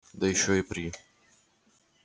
да ещё и при